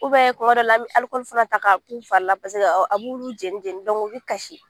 kuma dɔ la, an bɛ alikɔli fana ta k'a k'u fari la paseke a b'olu fari jɛni jɛni u bɛ kasi